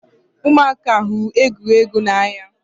Ụmụaka hụrụ egwuregwu n'anya